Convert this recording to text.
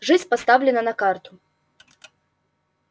жизнь поставлена на карту